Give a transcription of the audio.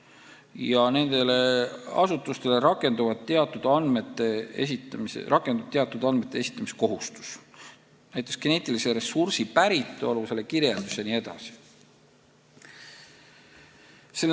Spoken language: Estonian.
Ja nendele asutustele rakendub teatud andmete esitamise kohustus, näiteks geneetilise ressursi päritolu, selle kirjeldus jne.